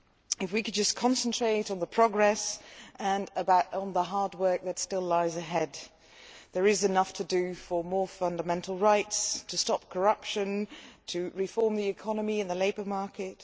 If we could just concentrate on the progress and on the hard work that still lies ahead, there is enough to do as regards more fundamental rights stopping corruption and reforming the economy and the labour market.